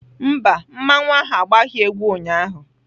Mba, mmanwu ahu agbaghị egwu ụnyaahụ